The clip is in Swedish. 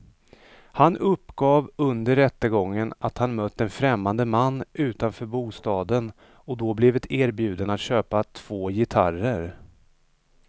Han uppgav under rättegången att han mött en främmande man utanför bostaden och då blivit erbjuden att köpa två gitarrer.